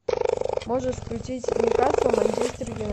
можешь включить ньюкасл манчестер юнайтед